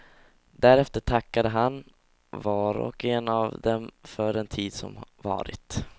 Därefter tackade han var och en av dem för den tid som varit.